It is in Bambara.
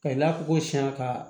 Ka i n'a fɔ ko siyan ka